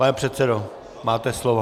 Pane předsedo, máte slovo.